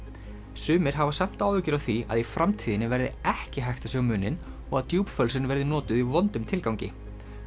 sumir hafa samt áhyggjur af því að í framtíðinni verði ekki hægt að sjá muninn og að djúpfölsun verði notuð í vondum tilgangi